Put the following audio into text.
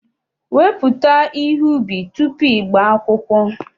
Wepụta ihe ubi tupu ị gbaa akwụkwọ